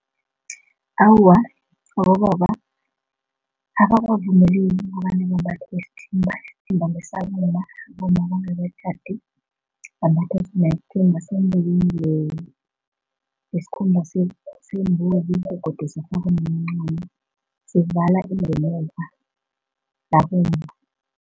Awa, abobaba abakavumeleki kobana bambathe isithimba, isithimba ngesabomma bambatha isithimba senziwe ngesikhumba sembuzi begodu kwemincamo, sivala ingemuva labomma.